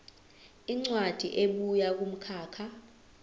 incwadi ebuya kumkhakha